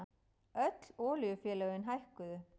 Öll olíufélögin hækkuðu